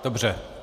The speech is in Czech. Dobře.